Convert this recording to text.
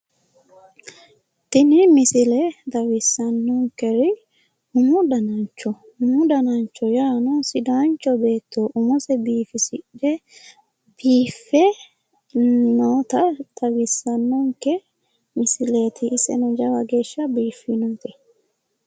Tini misile xawissanoniker umu dananicho umu dananicho yaa sidaanicho beetto biifisidhe noota xawisannonike misileet iseno lowo geesha biifinote